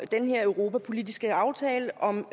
den her europapolitiske aftale om